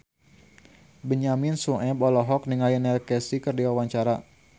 Benyamin Sueb olohok ningali Neil Casey keur diwawancara